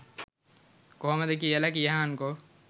කොහොමද කියල කියහන්කෝ.